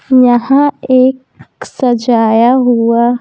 यहां एक सजाया हुआ --